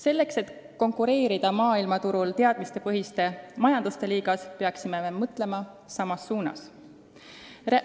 Selleks et konkureerida maailmaturul teadmistepõhiste majanduste liigas, peaksime mõtlema samas suunas.